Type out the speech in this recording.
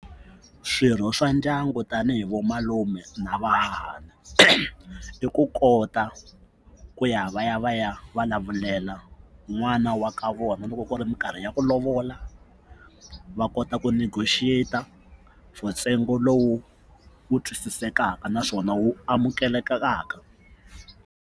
Swirho swa ndyangu tanihi vo malume na vahahani i ku kota ku ya va ya va ya vulavulela n'wana wa ka vona loko ku ri mikarhi ya ku lovola va kota ku negotiate-a for ntsengo lowu wu twisisekaka naswona wu amukelekaka.